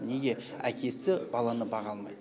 неге әкесі баланы баға алмайды